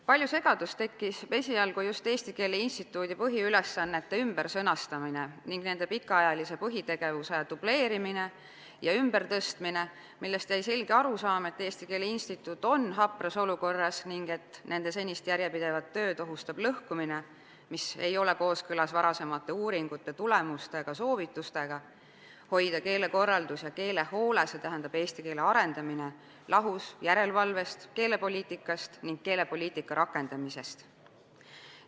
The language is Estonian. Palju segadust tekitas esialgu just Eesti Keele Instituudi põhiülesannete ümbersõnastamine ning nende pikaajalise põhitegevuse võimalik dubleerimine ja ümbertõstmine, millest jäi selge arusaam, et Eesti Keele Instituut on hapras olukorras ning et nende senist järjepidevat tööd ohustab lõhkumine, mis ei ole kooskõlas varasemate uuringute tulemustega, soovitustega hoida keelekorraldus ja keelehoole, st eesti keele arendamine lahus järelevalvest, keelepoliitikast ning keelepoliitika rakendamisest.